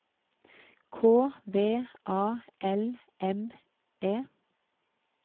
K V A L M E